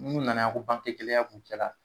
N'u nana yan ko banke ko gɛlɛya b'u cɛla.